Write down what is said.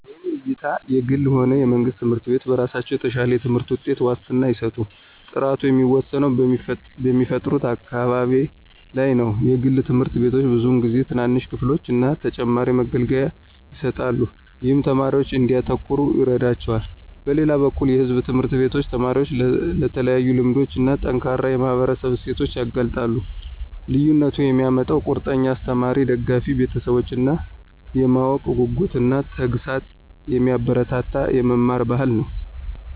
በእኔ እይታ የግልም ሆነ የመንግስት ትምህርት ቤቶች በራሳቸው የተሻለ የትምህርት ውጤት ዋስትና አይሰጡም። ጥራቱ የሚወሰነው በሚፈጥሩት አካባቢ ላይ ነው. የግል ትምህርት ቤቶች ብዙውን ጊዜ ትናንሽ ክፍሎችን እና ተጨማሪ መገልገያዎችን ይሰጣሉ, ይህም ተማሪዎች እንዲያተኩሩ ይረዳቸዋል. በሌላ በኩል የሕዝብ ትምህርት ቤቶች ተማሪዎችን ለተለያዩ ልምዶች እና ጠንካራ የማህበረሰብ እሴቶች ያጋልጣሉ። ልዩነቱን የሚያመጣው ቁርጠኛ አስተማሪዎች፣ ደጋፊ ቤተሰቦች እና የማወቅ ጉጉትን እና ተግሣጽን የሚያበረታታ የመማር ባህል ነው።